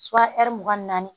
mugan ni naani